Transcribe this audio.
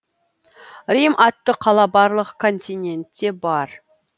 рим атты қала барлық континентте бар